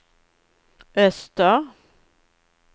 öster